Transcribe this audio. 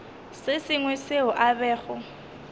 se sengwe seo a bego